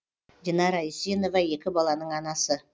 динара исенова екі баланың анасы